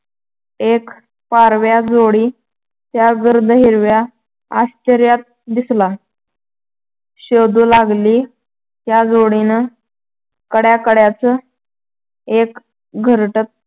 एक पारव्याची जोडी त्या गर्द हिरव्या आश्‍चर्यात दिसला शोधू लागली. त्या जोडीनं काड्याकाड्यांचं एक घरटं